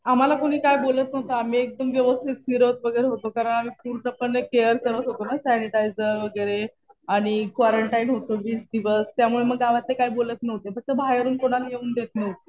आम्हाला कुणी काय बोलत नव्हतं. आम्ही एकदम व्यवथित फिरत वगैरे होतो. कारण आम्ही पूर्णपणे केअर करत होतो ना. सॅनिटायझर वगैरे आणि क्वारंटाईन होतो वीस दिवस. त्यामुळं मग गावातले काही बोलत नव्हते. फक्त बाहेरून कुणाला येऊन देत नव्हते.